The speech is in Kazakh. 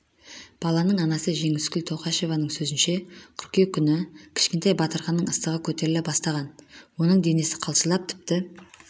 баланың анасы жеңіскүл тоқашеваның сөзінше қыркүйек күні кішкентай батырханның ыстығы көтеріле бастаған оның денесі қалшылдап тіпті